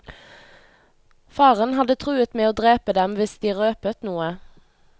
Faren hadde truet med å drepe dem hvis de røpet noe.